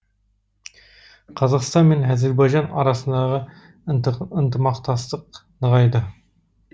қазақстан мен әзербайжан арасындағы ынтымақтастық нығайды